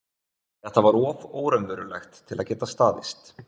Þetta var of óraunverulegt til að geta staðist.